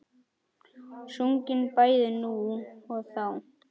Sungin bæði nú og þá.